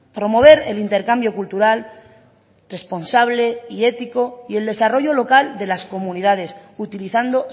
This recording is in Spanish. promover el intercambio cultural responsable y ético y el desarrollo local de las comunidades utilizando